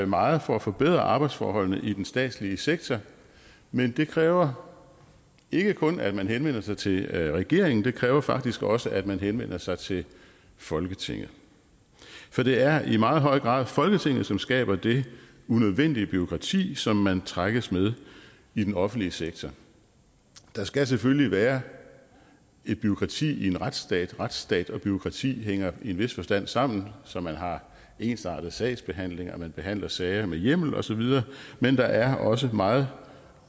meget for at forbedre arbejdsforholdene i den statslige sektor men det kræver ikke kun at man henvender sig til regeringen det kræver faktisk også at man henvender sig til folketinget for det er i meget høj grad folketinget som skaber det unødvendige bureaukrati som man trækkes med i den offentlige sektor der skal selvfølgelig være et bureaukrati i en retsstat retsstat og bureaukrati hænger i en vis forstand sammen så man har ensartet sagsbehandling og man behandler sager med hjemmel osv men der er også meget